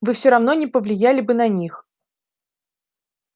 вы всё равно не повлияли бы на них